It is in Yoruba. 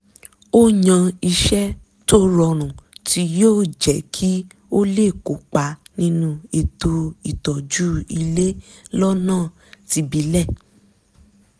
ó yan iṣẹ́ tó rọrùn tí yóò jẹ́ kí ó lè kópa nínú ètò ìtọ́jú ilé lọ́nà tìbílẹ̀